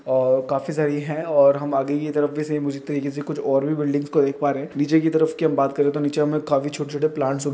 और काफी सारी है और हम आगे की तरफ से कुछ और बिल्डिंग्स को देख पा रहे है| नीचे की तरफ की बात करे तो नीचे हमे काफी छोटे-छोटे प्लांट्स --